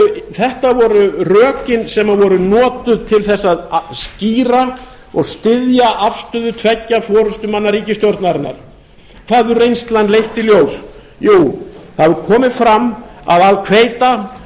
þetta voru rökin sem voru notuð til að skýra og styðja afstöðu tveggja forustumanna ríkisstjórnarinnar hvað hefur reynslan leitt í ljós jú það hefur komið fram að al quita